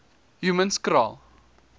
humanskraal